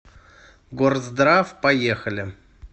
горздрав поехали